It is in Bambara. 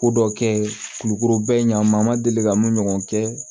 Ko dɔ kɛ kulukoro bɛɛ ɲa ma deli ka mun ɲɔgɔn kɛ